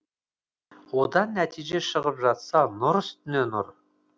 одан нәтиже шығып жатса нұр үстіне нұр